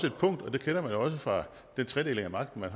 et punkt og det kender man jo også fra den tredeling af magten der